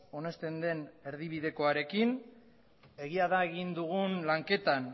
onesten den erdibidekoarekin egi da egin dugun lanketan